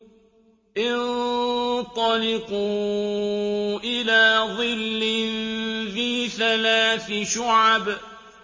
انطَلِقُوا إِلَىٰ ظِلٍّ ذِي ثَلَاثِ شُعَبٍ